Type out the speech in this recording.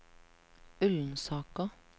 Ullensaker